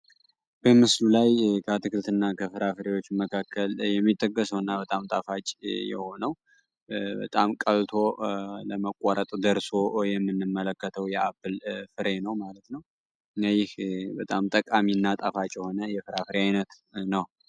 በምስሉ ላይ ከአትክልትና ፍራፍሬዎች መክከል የሚጠቀሰው በጣም ጣፋጭ የሆነው በጣም ቀልጦ ለመቆረጥ ደርሶ የምንመለከተው የአፕል ፍሬ ነው። እና ይህ በጣም ጠቃሚ እና ጣፋጭ የሆነ የአትክልት አይነት ነው።